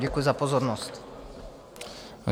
Děkuji za pozornost.